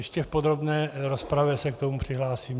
Ještě v podrobné rozpravě se k tomu přihlásím.